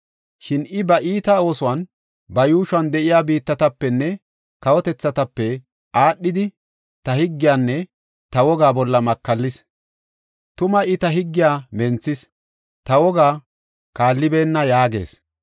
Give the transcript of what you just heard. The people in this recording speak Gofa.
Shin I ba iita oosuwan ba yuushuwan de7iya biittatapenne kawotethatape aadhidi ta higgiyanne ta wogaa bolla makallis. Tuma I ta higgiya menthis; ta wogaa kaallibeenna” yaagees.